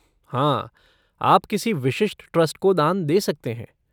हाँ, आप किसी विशिष्ट ट्रस्ट को दान दे सकते हैं।